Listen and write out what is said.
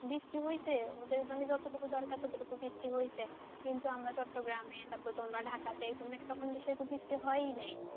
বৃষ্টি হয়েছে ওদের মানে যতটুকু দরকার ততটুকু বৃষ্টি হয়েছে কিন্তু আমাদের চট্টগ্রামে তারপর তোমাদের ঢাকাতে সেরকম বৃষ্টি হয় নাই,